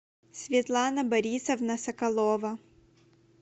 светлана борисовна соколова